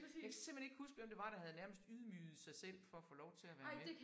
Jeg kan simpelthen ikke huske hvem det var der havde nærmest ydmyget sig selv for at få lov til at være med